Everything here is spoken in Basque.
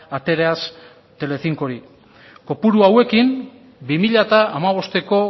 ateraz telecincori kopuru hauekin bi mila hamabosteko